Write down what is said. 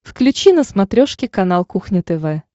включи на смотрешке канал кухня тв